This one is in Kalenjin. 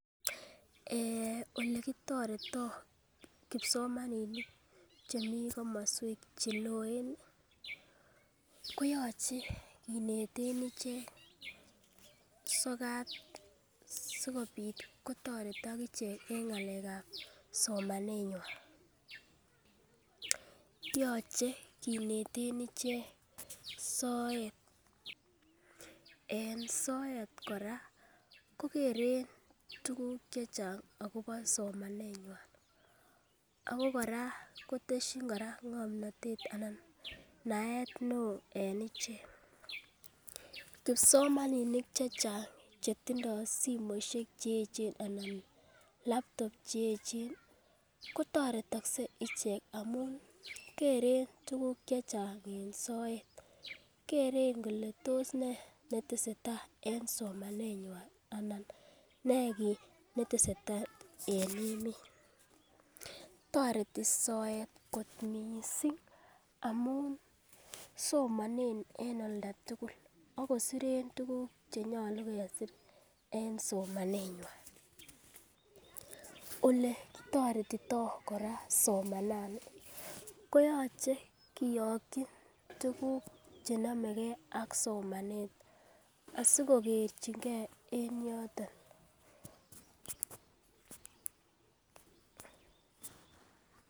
Olekitoretoo kipsomaninik chemii komoswek cheloen ih koyoche kineten ichek sokat sikobit kotoretok ichek en ng'alek ab somanet nywan. Yoche kineten ichek soet en soet kora kokeren tuguk chechang akobo somanet nywan ako kora kotesyin kora ng'omnotet ana naet neoo en ichek kipsomaninik chechang chetindoo simoisiek cheechen anan laptop cheechen ketoretokse ichek amun keren tuguk chechang en soet keren kole tos nee netesetai en somanet nywan ana nee kit netesetai en emet toreti soet kot missing amun somonen en oldatugul akosiren tuguk chenyolu kesir en somanet nywan, oletoretitoo kora somanani koyoche koyokyi tuguk chenomegee ak somanet asikokerchigee en yoton